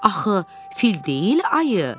Axı fil deyil ayı.